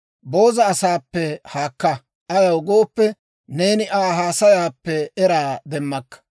Booza asaappe haakka; ayaw gooppe, neeni Aa haasayaappe eraa demmakka.